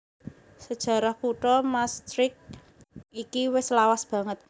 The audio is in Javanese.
Sajarah kutha Maastricht iki wis lawas banget